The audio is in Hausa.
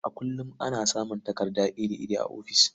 A kullum ana samun takardu iri-iri a ofis.